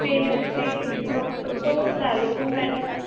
ਤੇ ਤੁਸੀਂ doctor ਤੋਂ ਲੈ ਲੋ ਕੋਈ medicine